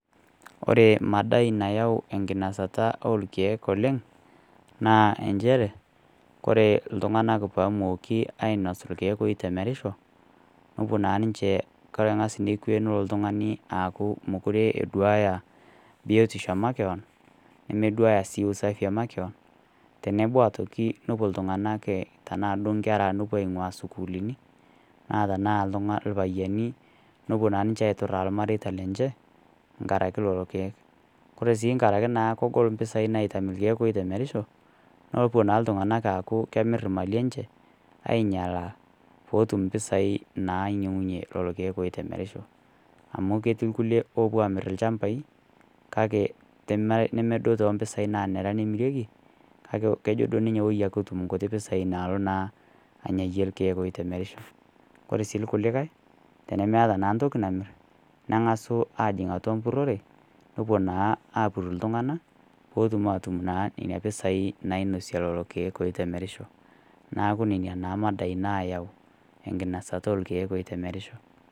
Ore madai nayau enkinosata o ilkeek oleng', naa enchere ore iltung'ana ilkeek oitemerisho, nepuo naa ninche, kore naa ning'as nikwe nelo ltung'ani aaku meduaya biotisho e makewan, nimiduaya sii usafii e makewan tenebo aitoki tenepuo iltung'ana aingua tanaa duo inkera nepuo ainguaa sukuulini, naa tanaa ilpayiani nepuo naa ninche aituraa ilmareita lenye, enkaraki lelo keek. Kore naa naaku Kore impisai naitam ilkeek oitemerisho, nepuo naa iltung'ana aaku kemir imali enche, ainyalaa pee etum impisai nainyang'unye lelo keek oitemerisho. Amu ketii ilkulie oopuo amir ilchambai kake nemedou too mpisai nemirieki, kake kejo duo ninye woi etum inkuti pisai naalo naa anyayie ilkeek oitemerisho. Kore sii ilkulikai tenemeata naa ntoki namir, neng'asu ajing' atua mpurore, nepuo naa apur iltung'ana peetum naa atum nena pisai nainosie lelo keek oitemerisho, neaku nena naa madai naayau enkinasata olkeek oitemerisho.